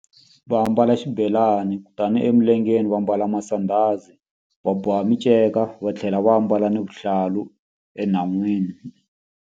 Va ambala xibelani tani emilengeni va mbala masandhazi va boha minceka va tlhela va ambala na vihlalu enhan'wini.